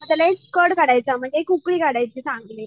त्याला एक कड काढायचा म्हणजे एक उकळी काढायची चांगली.